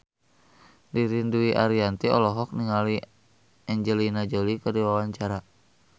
Ririn Dwi Ariyanti olohok ningali Angelina Jolie keur diwawancara